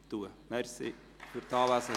Danke für Ihre Anwesenheit.